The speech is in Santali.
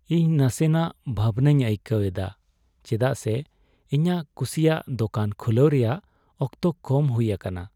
ᱤᱧ ᱱᱟᱥᱮᱱᱟᱜ ᱵᱷᱟᱵᱱᱟᱧ ᱟᱹᱭᱠᱟᱹᱣ ᱮᱫᱟ ᱪᱮᱫᱟᱜ ᱥᱮ ᱤᱧᱟᱹᱜ ᱠᱩᱥᱤᱭᱟᱜ ᱫᱚᱠᱟᱱ ᱠᱷᱩᱞᱟᱣ ᱨᱮᱭᱟᱜ ᱚᱠᱛᱚ ᱠᱚᱢ ᱦᱩᱭ ᱟᱠᱟᱱᱟ ᱾